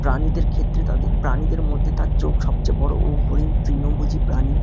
প্রানিদের ক্ষেত্রে তাদের প্রাণীদের মধ্যে তার চোখ সবচেয়ে বড় ও হরিন তৃণভোজী প্রাণী ।